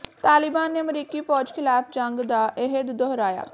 ਤਾਲਿਬਾਨ ਨੇ ਅਮਰੀਕੀ ਫੌਜ ਖ਼ਿਲਾਫ਼ ਜੰਗ ਦਾ ਅਹਿਦ ਦੁਹਰਾਇਆ